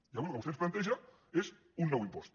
i avui el que vostè ens planteja és un nou impost